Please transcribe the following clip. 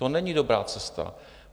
To není dobrá cesta.